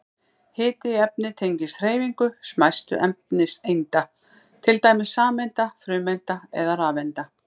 Hiti í efni tengist hreyfingu smæstu efniseinda, til dæmis sameinda, frumeinda eða rafeinda.